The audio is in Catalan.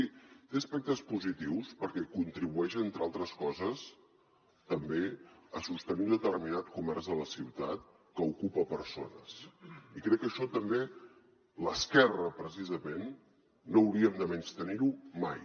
sí té aspectes positius perquè contribueix entre altres coses també a sostenir un determinat comerç de la ciutat que ocupa persones i crec que això també l’esquerra precisament no hauríem de menystenir ho mai